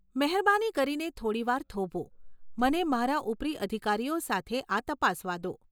મહેરબાની કરીને થોડી વાર થોભો. મને મારા ઉપરી અધિકારીઓ સાથે આ તપાસવા દો.